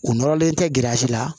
U nɔrɔlen tɛ grɛrisi la